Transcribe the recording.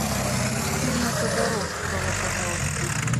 фильмы тодоровского пожалуйста